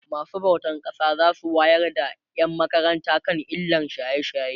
masu bautan ƙasa zasu wayar da ƴan makaranta kan illan shaye shaye